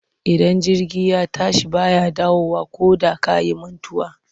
Idan jirgi ya tashi ba ya dawowa koda ka yi mantuwa.